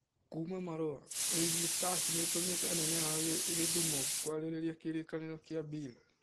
(Kuuma Marũa)Ulinzi Stars nĩ ĩtũmĩte anene ao Gĩthumo kwarĩrĩria kĩrĩkanĩro kĩa Bill.